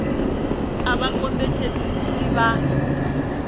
a vha kombetshedzei uri vha